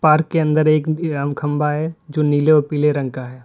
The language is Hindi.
पहाड़ के अंदर एक खंभा है जो नीले और पीले रंग का है।